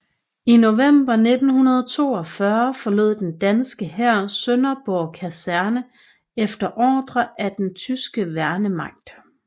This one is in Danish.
I november 1942 forlod den danske hær Sønderborg Kaserne efter ordre fra den tyske værnemagt